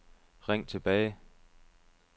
ring tilbage